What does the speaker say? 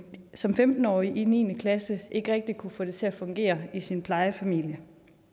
som femten årig i niende klasse ikke rigtig kunne få det til at fungere i sin plejefamilie